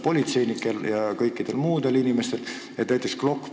Politseinikel ja ka kõikidel muudel inimestel ongi juhtunud palju õnnetusi.